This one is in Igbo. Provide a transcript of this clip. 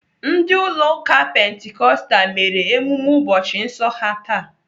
Ndi ụlọ ụka pentikostal mere emume ụbọchị nsọ ha taa.